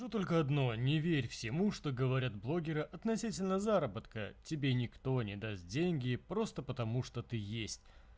тут только одно не верь всему что говорят блогеры относительно заработка тебе никто не даст деньги просто потому что ты есть